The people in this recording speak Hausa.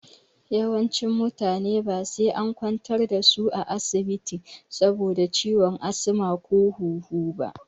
Yawancin mutane ba sai an kwantar da su asibiti saboda ciwon asma ko ciwon huhu ba.